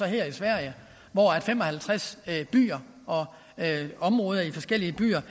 hedder i sverige hvor fem og halvtreds byer og områder i forskellige byer